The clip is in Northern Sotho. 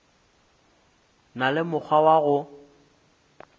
na le mokgwa wa go